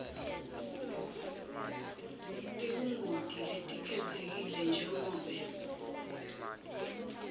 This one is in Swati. tebungoti letikhetsekile njengobe